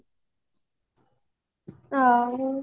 ଆଉ